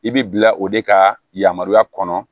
I bɛ bila o de ka yamaruya kɔnɔ